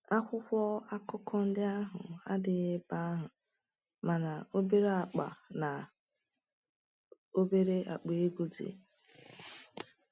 Akwụkwọ akụkọ ndị ahụ adịghị ebe ahụ, mana obere akpa na obere akpa ego dị.